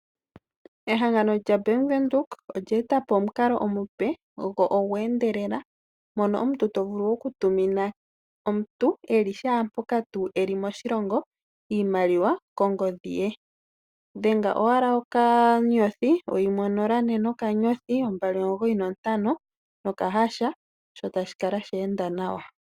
Ehangano lyaBankWindhoek olya eta po omukalo omupe go ogwa endelela, mono omuntu to vulu oku tumina omuntu eli shaampoka tuu eli moshilongo iimaliwa kongodhi ye, dhenga owala okanyothi oyimwe onola ne nokanyothi ombali omugoyi nontano nokahasha sho tashi kala sha enda nawa.